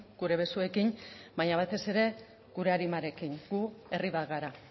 gure besoekin baina batez ere gure arimarekin gu herri bat gara